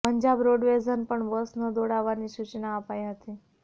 પંજાબ રોડવેઝને પણ બસ ન દોડાવવાની સૂચના અપાઈ હતી